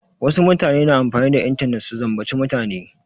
Wasu mutane na amfani da intanet su zambaci mutane.